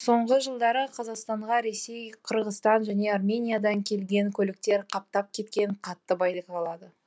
соңғы жылдары қазақстанға ресей қырғызстан және армениядан келген көліктер қаптап кеткені қатты байқалады